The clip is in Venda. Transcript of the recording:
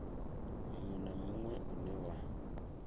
munwe na munwe une wa